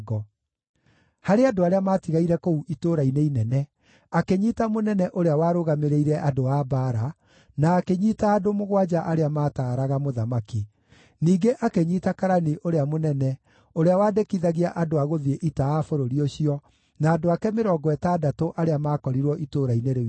Harĩ andũ arĩa maatigaire kũu itũũra-inĩ inene, akĩnyiita mũnene ũrĩa warũgamĩrĩire andũ a mbaara, na akĩnyiita andũ mũgwanja arĩa maataaraga mũthamaki. Ningĩ akĩnyiita karani ũrĩa mũnene, ũrĩa wandĩkithagia andũ a gũthiĩ ita a bũrũri ũcio, na andũ ake mĩrongo ĩtandatũ arĩa maakorirwo itũũra-inĩ rĩu inene.